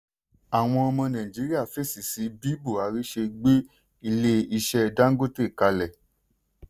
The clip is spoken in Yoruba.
àwọn ọmọ nàìjíríà fèsì sí bí buhari ṣe gbé ilé iṣẹ́ dangote kalẹ̀.